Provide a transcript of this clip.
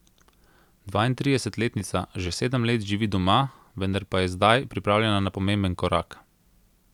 Dvaintridesetletnica že sedem let živi doma, vendar pa je zdaj pripravljena na pomemben korak.